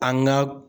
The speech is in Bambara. An ka